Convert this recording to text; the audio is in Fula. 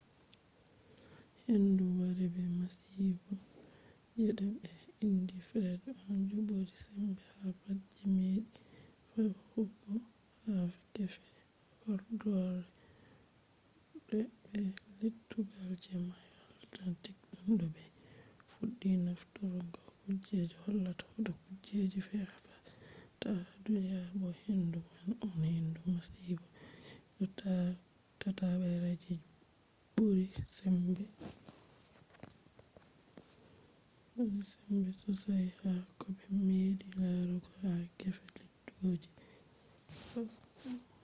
hendu wari be masibo je ɓe indi fred on je ɓuri sembe ha pat je meɗi fe’ugo ha gefe horɗoore be lettugal je mayo atlantik tun de ɓe fuɗɗi nafturgo kuje hollata hoto kujeji fe a ta ha duniya bo hendu man on hendu masibo je tatabre je ɓuri sembe sosai ha koɓe meɗi larugo ha gefe lettugal je 35ow